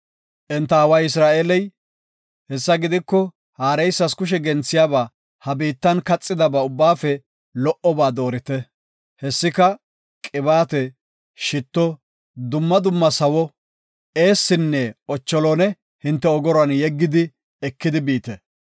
Enta aaway Isra7eeley, “Hessa gidiko haareysas kushe genthiyaba, ha biittan kaxiyaba ubbaafe lo77oba doorite. Hessika, qibaate, shitto, dumma dumma sawo, eessinne, ocholone hinte ogoruwan yeggidi, ekidi biite.